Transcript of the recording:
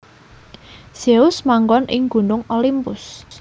Zeus manggon ing Gunung Olimpus